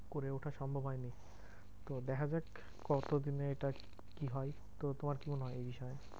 করে ওঠা সম্ভব হয়নি। তো দেখা যাক কত দিনে এটা কি হয়? তো তোমার কি মনে হয় এই বিষয়?